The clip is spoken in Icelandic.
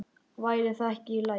Væri það ekki í lagi?